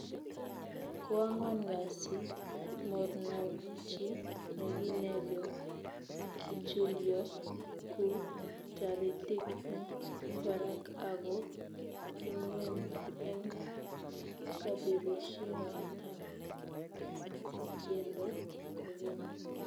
Koangwan kasi mornokchi chegineryo kichulyo ku taritik eng barak ago ingweny eng kabirishetab tyendo kogeny